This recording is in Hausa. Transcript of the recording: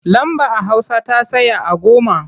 Lamba a hausa ta tsaya a goma.